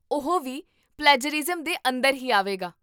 ਓਹ ਵੀ ਪਲੈਜਰਿਜ਼ਮ ਦੇ ਅੰਦਰ ਹੀ ਆਵੇਗਾ